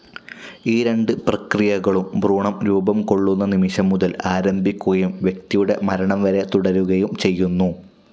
ഈ രണ്ട് പ്രക്രിയകളും ഭ്രൂണം രൂപം കൊള്ളുന്ന നിമിഷം മുതൽ ആരംഭിക്കുകയും വ്യക്തിയുടെ മരണം വരെ തുടരുകയും ചെയ്യുന്നു.